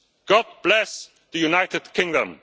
God bless the United Kingdom.